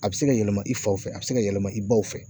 A bi se ka yɛlɛma i faw fɛ a bi se ka yɛlɛma i baw fɛ